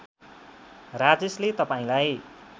राजेशले तपाईँलाई